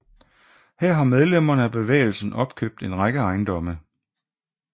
Her har medlemmer af bevægelsen opkøbt en række ejendomme